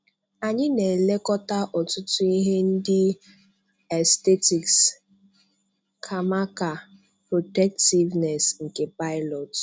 Anyị na-elekọta ọ̀tụ̀tụ̀ ihe ndị aesthetics, kàmákà protectiveness nke pilot.